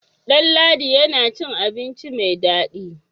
Ɗanladi yana cin abinci mai dadi.